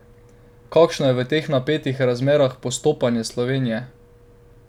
Kakšno je v teh napetih razmerah postopanje Slovenije?